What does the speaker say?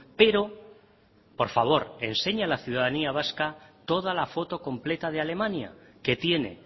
pero por favor enseña a la ciudadanía vasca toda la foto completa de alemania que tiene